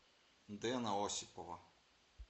дэна осипова